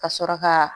Ka sɔrɔ ka